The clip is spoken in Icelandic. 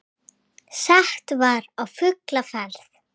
Sett var á fulla ferð.